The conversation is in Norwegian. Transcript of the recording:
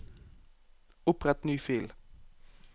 Opprett ny fil